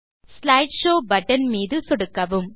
slide show button மீது சொடுக்கவும்